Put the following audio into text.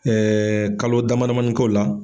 kalo damadamani koo la.